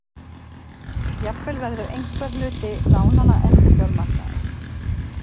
Jafnvel verður einhver hluti lánanna endurfjármagnaður